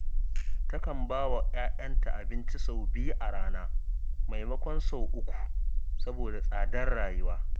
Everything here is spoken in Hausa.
Takan ba wa 'ya'yanta abinci sau biyu a rana, maimakon sau uku, saboda tsadar rayuwa